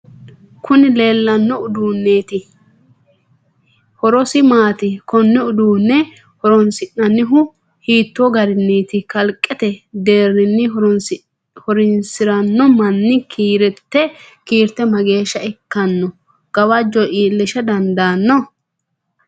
kuni leellanno uduuniti horosi maati? konne uduunne horoonsi'nannihu hiitoo garinniiti? kaliqete deerinni horoinsiranno manni kiirite mageesha ikkanno? gawajo iilisha dandaanno?